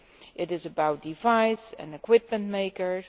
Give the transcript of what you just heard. It is about device and equipment makers.